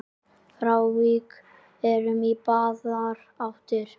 Frávik eru í báðar áttir.